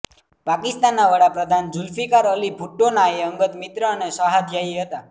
પાકિસ્તાનના વડા પ્રધાન ઝુલ્ફીકાર અલી ભુટ્ટોના એ અંગત મિત્ર અને સહાધ્યાયી હતા